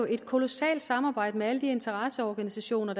et kolossalt samarbejde med alle de interesseorganisationer